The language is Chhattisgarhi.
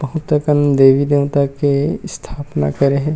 बहुत अकन देवी-देवता के स्थापना करे हे।